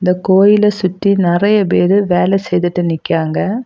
இந்தக் கோயில சுத்தி நெறைய பேர் வேலை செய்துட்டு நிக்கிறாங்க.